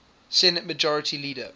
senate majority leader